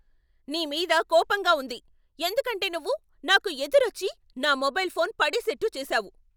నీ మీద కోపంగా ఉంది ఎందుకంటే నువ్వు నాకు ఎదురొచ్చి నా మొబైల్ ఫోన్ పడేసేట్టు చేసావు.